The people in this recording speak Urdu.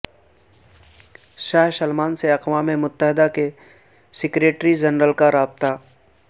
شاہ سلمان سے اقوام متحدہ کے سیکریٹری جنرل کا رابطہ